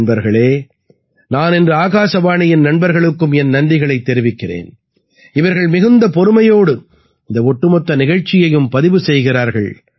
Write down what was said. நண்பர்களே நான் இன்று ஆகாசவாணியின் நண்பர்களுக்கும் என் நன்றிகளைத் தெரிவிக்கிறேன் இவர்கள் மிகுந்த பொறுமையோடு இந்த ஒட்டுமொத்த நிகழ்ச்சியையும் பதிவு செய்கிறார்கள்